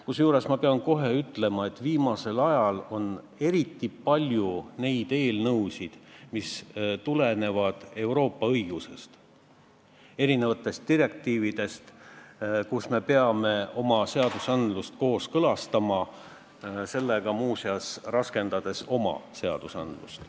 Kusjuures ma pean kohe ütlema, et viimasel ajal on eriti palju neid eelnõusid, mis tulenevad Euroopa õigusest, direktiividest, millega me peame oma seadusi kooskõlastama, seejuures muuseas muutes keerulisemaks oma õigusruumi.